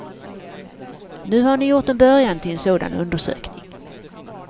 Nu har ni gjort en början till en sådan undersökning.